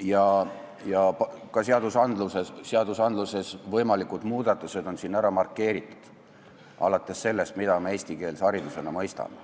ning ka võimalikud muudatused seadustes on siin ära markeeritud, alates sellest, et tuleb kindlaks määrata, mida me eestikeelse haridusena mõistame.